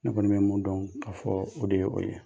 Ne kɔni bɛ mun dɔn ka fɔ o de ye o ye